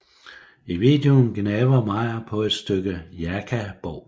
I videoen gnaver Meyer på et stykke Jaka bov